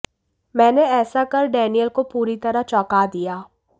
मैंने ऐसा कर डेनियल को पूरी तरह चौंका दिया